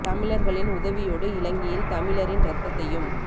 தமிழர்களின் உதவியோடு இலங்கையில் தமிழரின் இரத்தத்தையும்